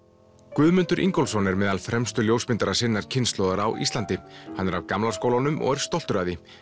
Guðmundur Ingólfsson er meðal fremstu ljósmyndara sinnar kynslóðar á Íslandi hann er af gamla skólanum og er stoltur af því